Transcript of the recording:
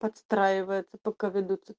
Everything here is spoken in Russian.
подстраивается пока ведутся